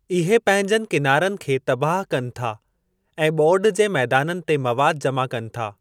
इहे पंहिंजनि किनारनि खे तबाहु कनि था ऐं ॿोॾि जे मैदाननि ते मवादु जमा कनि था।